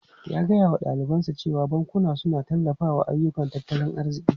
Ya gaya wa dalibansa cewa bankuna suna tallafawa ayyukan tattalin arziki.